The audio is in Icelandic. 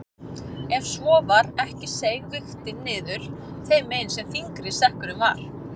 Ef svo var ekki seig vigtin niður þeim megin sem þyngri sekkurinn var.